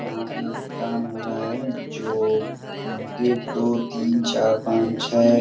यहाँ पे काम हो रहा है जो एक दो तीन चार पांच छह --